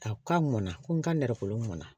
A ka mɔn ko n ka nɛrɛko mɔn